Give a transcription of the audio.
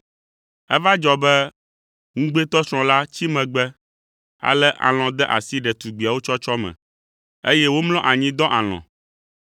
Eva dzɔ be ŋugbetɔsrɔ̃ la tsi megbe, ale alɔ̃ de asi ɖetugbiawo tsɔtsɔ me, eye womlɔ anyi dɔ alɔ̃.